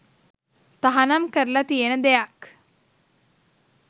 තහනම් කරලා තියෙන දෙයක්‌.